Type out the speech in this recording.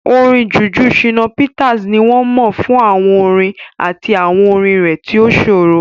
Orin Juju Shina Peters ni wọ́n mọ̀ fún àwọn orin àti àwọn orin rẹ̀ tí ó ṣòro.